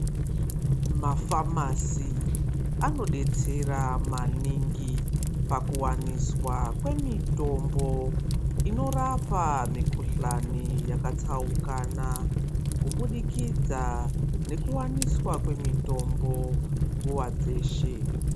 Mafamasi anodetsera maningi pakuwaniswa kwemitombo inorapa mikhuhlani yakatsaukana kubudikidza ngekuwaniswa kwemitombo nguwa dzeshe.